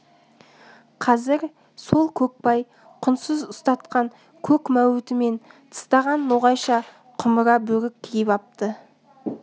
қазір сол көкбай құндыз ұстатқан көк мәуітімен тыстаған ноғайша құмыра бөрік киіп апты